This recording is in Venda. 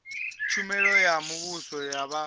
tshumelo ya muvhuso ya vha